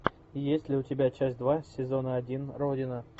есть ли у тебя часть два сезона один родина